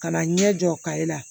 Ka na ɲɛ jɔ kaye la